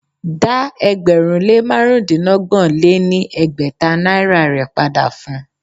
Dá ẹgbẹ̀rún lé márùndínọgbọ̀n lé ní ẹgbẹ́ta naira rè padà fun!